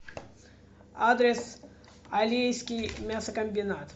адрес алейский мясокомбинат